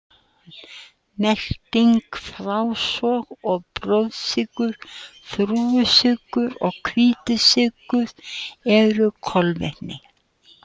Melting, frásog og blóðsykur Þrúgusykur og hvítur sykur eru kolvetni.